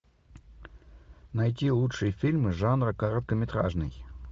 найти лучшие фильмы жанра короткометражный